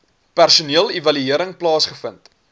personeel evaluering plaasgevind